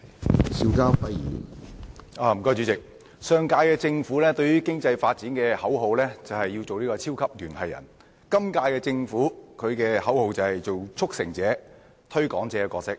對於經濟發展，上屆政府的口號是要做"超級聯繫人"，本屆政府的口號則是要擔當"促成者"和"推廣者"的角色。